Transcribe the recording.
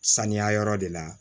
Saniya yɔrɔ de la